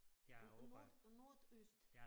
Nord og nordøst